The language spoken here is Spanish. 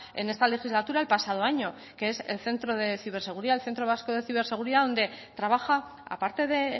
en esta legislatura el pasado año que es el centro de ciberseguridad el centro vasco de ciberseguridad donde trabaja a parte de